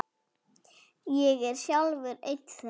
Ég er sjálfur einn þeirra.